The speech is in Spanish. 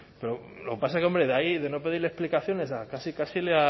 pero lo que pasa es que hombre de ahí de no pedirle explicaciones a casi casi le